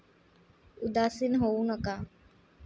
उदासीन होऊ नका!